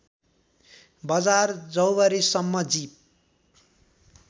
बजार जौवारीसम्म जीप